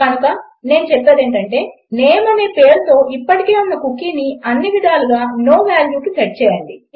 కనుక నేను అనదలచుకుంటే నేమ్ అనే పేరుతో ఇప్పటికే ఉన్న కుకీని అన్నివిధాలా నో valueకి సెట్ చేయండి